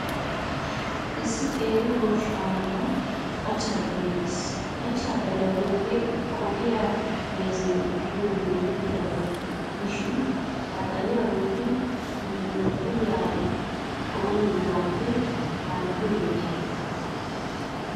Issi qeeri goshshaa malan qachcha xalee de'ees. qachcha xaliyaa uyiyoogee qohiyaa meezee gidiyoogee erettidaba gidishin, ha xaliyaa uyidi muquuqquliyan cooyiyogaappe harggiyoogee keha.